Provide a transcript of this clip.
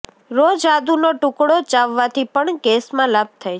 રોજ આદુનો ટુકડો ચાવવાથી પણ ગેસમાં લાભ થાય છે